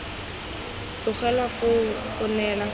tlogelwa foo go neela sekao